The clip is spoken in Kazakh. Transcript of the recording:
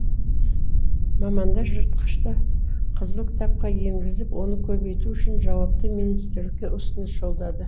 мамандар жыртқышты қызыл кітапқа енгізіп оны көбейту үшін жауапты министрлікке ұсыныс жолдады